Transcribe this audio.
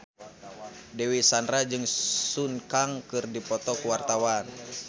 Dewi Sandra jeung Sun Kang keur dipoto ku wartawan